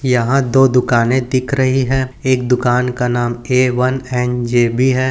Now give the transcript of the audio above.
यहाँ दो दुकाने दिख रही है एक दुकान का नाम ए_वन_एन_जे_बी है।